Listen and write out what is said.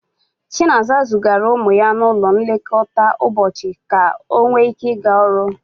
Chinaza zigara ụmụ ya n'ụlọ nlekọta ụbọchị ka ọ nwee ike ịga ọrụ.